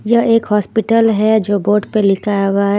यह एक हॉस्पिटल है जो बोर्ड पर लिखा हुआ है.